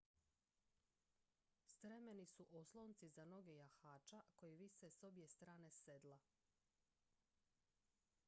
stremeni su oslonci za noge jahača koji vise s obje strane sedla